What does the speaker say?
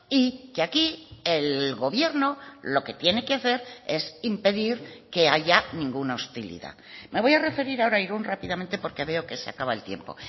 y que aquí el gobierno lo que tiene que hacer es impedir que haya ninguna hostilidad me voy a referir ahora a irún rápidamente porque veo que se acaba el tiempo